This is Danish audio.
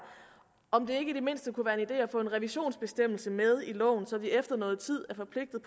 om det ikke i det mindste kunne være en idé at få en revisionsbestemmelse med i loven så de efter noget tid er forpligtet